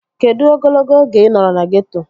Kedụ ogologo oge ị nọrọ na geeto?